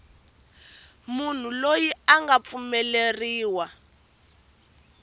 munhu loyi a nga pfumeleriwa